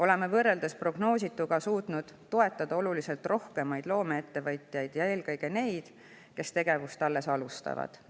Oleme võrreldes prognoosituga suutnud toetada oluliselt rohkemaid loomeettevõtjaid, eelkõige neid, kes tegevust alles alustavad.